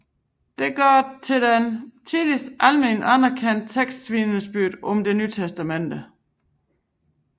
Det gør den til det tidligste alment anerkendte tekstvidnesbyrd om Det Nye Testamente